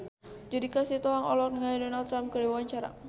Judika Sitohang olohok ningali Donald Trump keur diwawancara